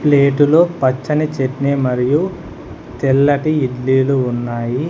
ప్లేటులో పచ్చని చెట్నీ మరియు తెల్లటి ఇడ్లీలు ఉన్నాయి.